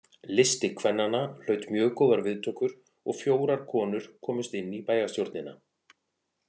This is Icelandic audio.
Listi kvennanna hlaut mjög góðar viðtökur og fjórar konur komust inn í bæjarstjórnina.